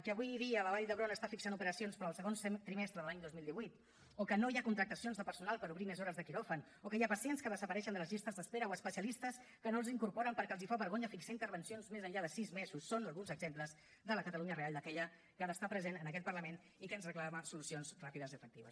que avui dia la vall d’hebron està fixant operacions per al segon trimestre de l’any dos mil divuit o que no hi ha contractacions de personal per obrir més hores de quiròfan o que hi ha pacients que desapareixen de les llistes d’espera o especialistes que no els incorporen perquè els fa vergonya fixar intervencions més enllà de sis mesos són alguns exemples de la catalunya real d’aquella que ha d’estar present en aquest parlament i que ens reclama solucions ràpides i efectives